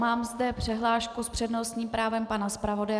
Mám zde přihlášku s přednostním právem pana zpravodaje.